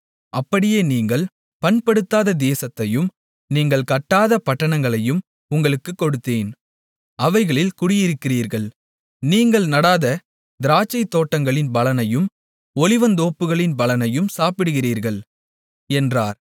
அப்படியே நீங்கள் பண்படுத்தாத தேசத்தையும் நீங்கள் கட்டாத பட்டணங்களையும் உங்களுக்குக் கொடுத்தேன் அவைகளில் குடியிருக்கிறீர்கள் நீங்கள் நடாத திராட்சைத்தோட்டங்களின் பலனையும் ஒலிவத்தோப்புக்களின் பலனையும் சாப்பிடுகிறீர்கள் என்றார்